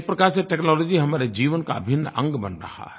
एक प्रकार से टेक्नोलॉजी हमारे जीवन का अभिन्न अंग बन रही है